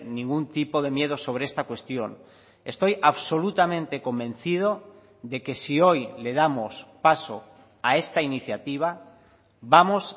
ningún tipo de miedo sobre esta cuestión estoy absolutamente convencido de que si hoy le damos paso a esta iniciativa vamos